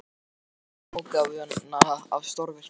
Þar rákumst við á frumútgáfuna af stórvirki